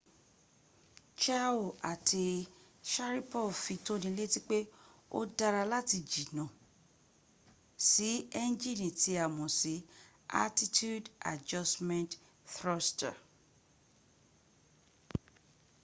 chiao àti sharipov fi tónilétí pé ó dára láti jíjìnà sí ẹnjìni tí a mọ̀ sí attitude adjustment thruster